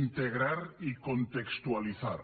integrar i contextualitzar